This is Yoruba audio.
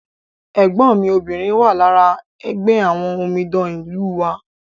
ẹ̀gbọ́n mi obìnrin wà lára ẹgbẹ́ àwọn omidan ìlú wa